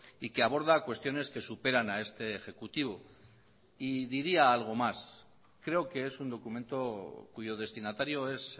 y que aborda cuestiones que superan a este ejecutivo y diría algo más creo que es un documento cuyo destinatario es